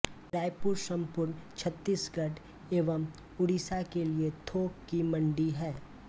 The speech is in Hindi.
रायपुर संपूर्ण छ्त्तीसगढ़ एवं उड़ीसा के लिये थोक की मंडी है